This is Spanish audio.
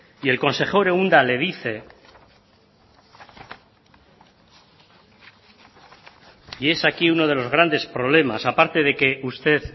y el consejero unda le dicen y es aquí uno de los grandes problemas aparte de que usted